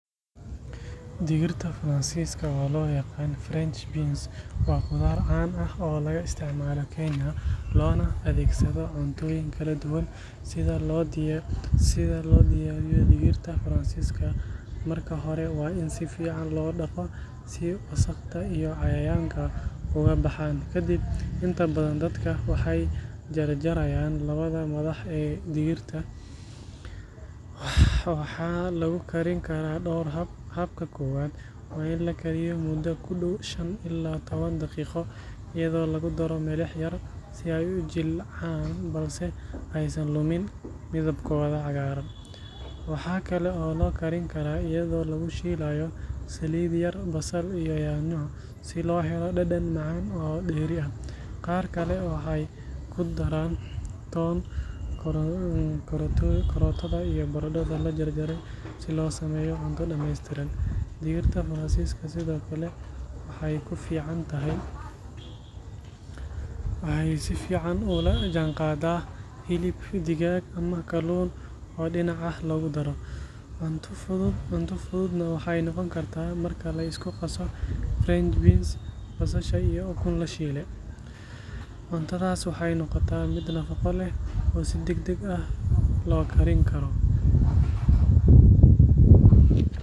Digirta Faransiiska oo loo yaqaan French beans waa khudaar caan ah oo laga isticmaalo Kenya loona adeegsado cuntooyin kala duwan. Si loo diyaariyo digirta Faransiiska, marka hore waa in si fiican loo dhaqo si wasakhda iyo cayayaanka uga baxaan. Kadib, inta badan dadka waxay jar-jarayaan labada madax ee digirta. Waxaa lagu karin karaa dhowr hab. Habka koowaad waa in la kariyo muddo ku dhow shan ilaa toban daqiiqo iyadoo lagu daro milix yar si ay u jilcaan balse aysan lumin midabkooda cagaaran. Waxaa kale oo la karin karaa iyadoo lagu shiilayo saliid yar, basal iyo yaanyo si loo helo dhadhan macaan oo dheeri ah. Qaar kale waxay ku daraan toon, karootada iyo baradho la jarjaray si loo sameeyo cunto dhameystiran. Digirta Faransiiska sidoo kale waxay si fiican ula jaanqaadaan hilib digaag ama kalluun oo dhinac ah loogu daro. Cunto fududna waxay noqon kartaa marka la isku qaso French beans, basasha iyo ukun la shiilay. Cuntadaas waxay noqotaa mid nafaqo leh oo si degdeg ah loo karin karo.